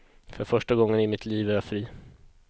För första gången i mitt liv är jag fri.